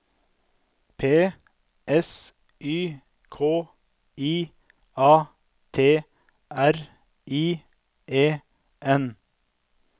P S Y K I A T R I E N